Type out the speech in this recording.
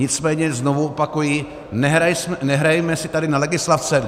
Nicméně znovu opakuji, nehrajme si tady na legislativce.